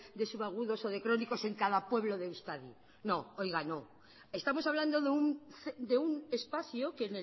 de subagudos o de crónicos en cada pueblo de euskadi no oiga no estamos hablando de un espacio que